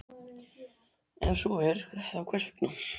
Ef svo er, þá hvers vegna?